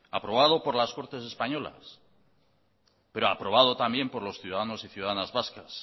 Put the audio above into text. aprobado por las cortes españolas pero aprobado también por los ciudadanos y ciudadanas vascas